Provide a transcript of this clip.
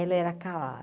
Ela era